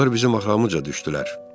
Onlar bizim axramızca düşdülər.